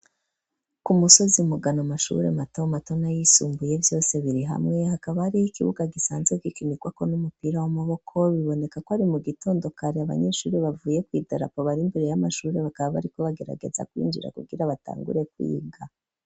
Ku musozi mugano amashure mato mato na yisumbuye vyose biri hamwe hakaba hariho ikibuga gisanzwe gikinikwako n'umupira w'amaboko, bibonekako ari mu gitondo kare abanyeshure bavuye kw'ibendera bari imbere y'amashure bakaba bariko bagerageza kwinjira kugira batangure kwiga.